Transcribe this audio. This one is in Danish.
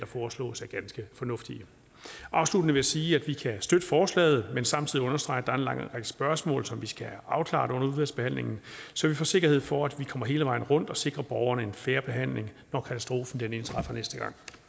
foreslås er ganske fornuftige afsluttende vil jeg sige at vi kan støtte forslaget vil samtidig understrege at der er en lang række spørgsmål som vi skal have afklaret under udvalgsbehandlingen så vi får sikkerhed for at vi kommer hele vejen rundt og sikrer borgerne en fair behandling når katastrofen indtræffer næste